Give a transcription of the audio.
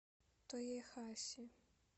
тоехаси